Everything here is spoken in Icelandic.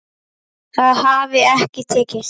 Það hafi ekki tekist.